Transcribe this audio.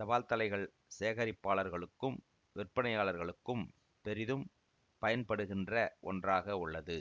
தபால்தலைகள் சேகரிப்பாளர்களுக்கும் விற்பனையாளர்களுக்கும் பெரிதும் பயன்படுகின்ற ஒன்றாக உள்ளது